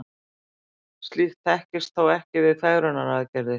slíkt þekkist þó ekki við fegrunaraðgerðir